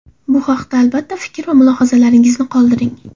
Bu haqida, albatta, fikr va mulohazalaringizni qoldiring.